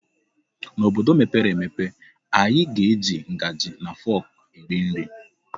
N'obodo mepere emepe anyị ga-eji ngaji na fọk eri nri.